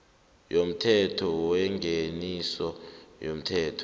yomthetho wengeniso yomthelo